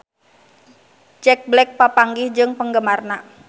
Jack Black papanggih jeung penggemarna